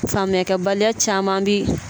Faamuyakɛbaliya caman bi